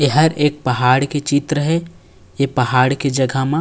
ऐहर एक पहाड़ के चित्र है ये पहाड़ के जगह मा --